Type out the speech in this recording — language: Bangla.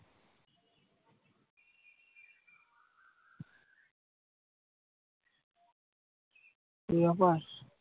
এই ব্যাপার?